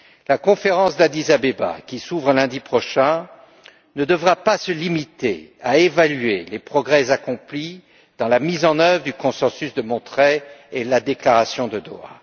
La conférence d'Addis Abeba qui s'ouvre lundi prochain ne devra pas se limiter à évaluer les progrès accomplis dans la mise en œuvre du consensus de Monterrey et de la déclaration de Doha.